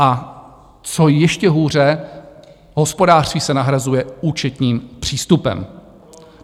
A co ještě hůře, hospodářství se nahrazuje účetním přístupem.